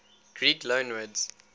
greek loanwords